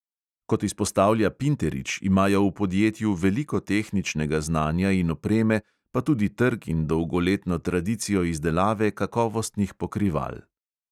Kot izpostavlja pinterič, imajo v podjetju veliko tehničnega znanja in opreme, pa tudi trg in dolgoletno tradicijo izdelave kakovostnih pokrival.